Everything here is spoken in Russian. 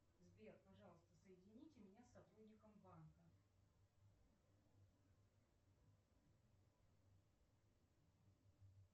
сбер пожалуйста соедините меня с сотрудником банка